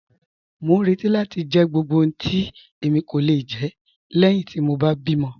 Mọ n rẹti láti jẹ gbogbo ohun tí èmi kò le jẹ lẹ́ẹ̀hin ti mọ bá bí mọ̀.